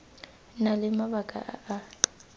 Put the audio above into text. na le mabaka a a